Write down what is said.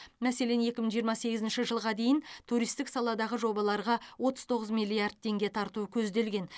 мәселен екі мың жиырма сегізінші жылға дейін туристік саладағы жобаларға отыз тоғыз миллиард теңге тарту көзделген